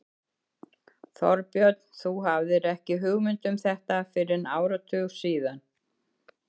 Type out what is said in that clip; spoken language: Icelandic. Þorbjörn: Þú hafðir ekki hugmynd um þetta fyrr en áratug síðar?